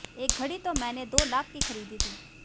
एक घड़ी तो मैंने दो लाख की खरीदी थी